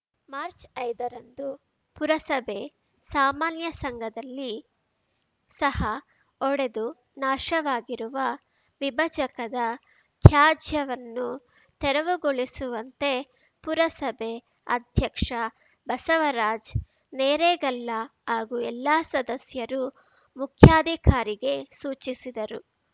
March ಐದರಂದು ಪುರಸಭೆ ಸಾಮಾನ್ಯ ಸಂಘದಲ್ಲಿ ಸಹ ಒಡೆದು ನಾಶವಾಗಿರುವ ವಿಭಜಕದ ತ್ಯಾಜ್ಯವನ್ನು ತೆರವುಗೊಳಿಸುವಂತೆ ಪುರಸಭೆ ಅಧ್ಯಕ್ಷ ಬಸವರಾಜ್ ನೇರೇಗಲ್ಲ ಹಾಗೂ ಎಲ್ಲಾ ಸದಸ್ಯರು ಮುಖ್ಯಾಧಿಕಾರಿಗೆ ಸೂಚಿಸಿದರು